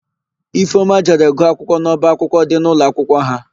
Ifeọma jere gụọ akwụkwọ n'ọbaakwụkwọ dị n'ụlọakwụkwọ ha.